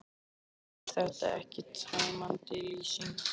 Auðvitað er þetta ekki tæmandi lýsing.